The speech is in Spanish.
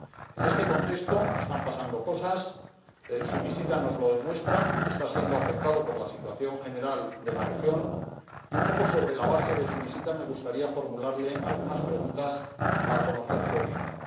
En este contexto están pasando cosas —su visita nos lo demuestra—, el proceso está siendo afectado por la situación general de la región y, un poco sobre la base de su visita, me gustaría formularle algunas preguntas para conocer su opinión.